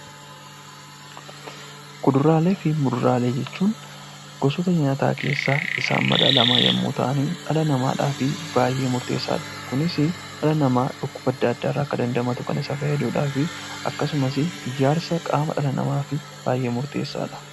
Kuduraalee fi muduraalee jechuun gosoota nyaataa keessaa isaan madaalamaa yoo ta'ani, dhala namaadhaafii baay'ee murteessaa dha. Kunis dhala namaa dhukkuba adda addaa irraa akka damdamatu kan isa fayyaduu dhaafi akkasumas ijaarsa qaama dhala namaa fi baay'ee murteessaa dha.